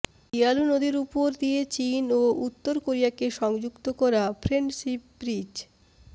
Yalu নদীর ওপর দিয়ে চীন ও উত্তর কোরিয়াকে সংযুক্ত করা ফ্রেন্ডশিপ ব্রিজ